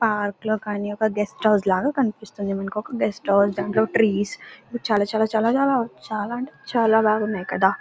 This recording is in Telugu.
పార్క్ లో కానీ ఒక గెస్ట్ హౌస్ లాగా కనిపిస్తుంది. మనకి గెస్ట్ హౌస్ లోనే ట్రీ స్ చాలా చాలా చాలా చాలా చాలా అంటే చాలా బాగున్నాయి కదా.